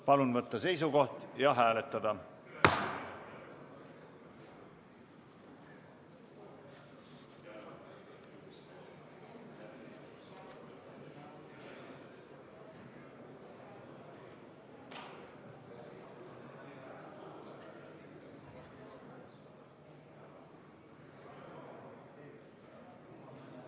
Palun võtta seisukoht ja hääletada!